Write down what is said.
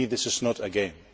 For me, this is not a game